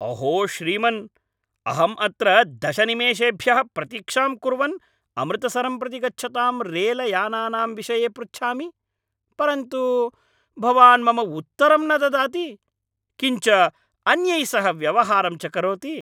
अहो श्रीमन् अहं अत्र दश निमेषेभ्यः प्रतीक्षां कुर्वन् अमृतसरं प्रति गच्छतां रेलयानानां विषये पृच्छामि, परन्तु भवान् मम उत्तरं न ददाति, किञ्च अन्यैः सह व्यवहारं च करोति।